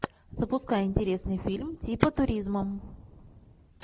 запускай интересный фильм типа туризма